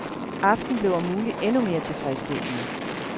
Aftenen blev om muligt endnu mere tilfredsstillende.